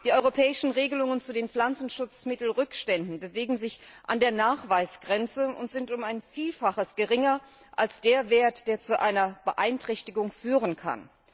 Die europäischen Regelungen zu den Pflanzenschutzmittelrückständen bewegen sich an der Nachweisgrenze und sind um ein Vielfaches geringer als der Wert, der zu einer Beeinträchtigung führen kann.